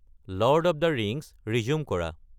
lord of the Rings resume কৰা